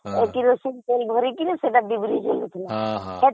kerosene ଭରିକି ଡ଼ିବିରି ଜଳେଇବି ହଁ ହଁ